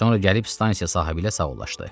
Sonra gəlib stansiya sahibi ilə sağollaşdı.